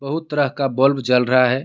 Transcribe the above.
बहुत तरह का बल्ब जल रहा है.